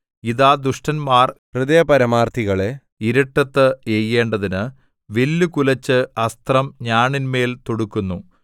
ഇതാ ദുഷ്ടന്മാർ ഹൃദയപരമാർത്ഥികളെ ഇരുട്ടത്ത് എയ്യേണ്ടതിന് വില്ലു കുലച്ച് അസ്ത്രം ഞാണിന്മേൽ തൊടുക്കുന്നു